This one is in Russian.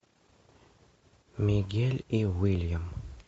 мигель и уильям